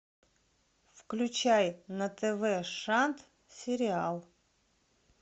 включай на тв шант сериал